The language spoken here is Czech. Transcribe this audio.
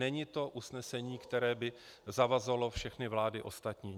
Není to usnesení, které by zavazovalo všechny vlády ostatní.